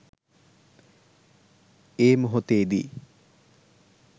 ඒ මොහොතේදී